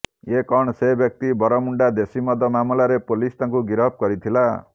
ଏ କଣ ସେ ବ୍ୟକ୍ତି ବନ୍ଧମୁଣ୍ଡା ଦେଶୀମଦ ମାମଲାରେ ପୋଲିସ ତାଙ୍କୁ ଗିରଫ କରିଥିଲା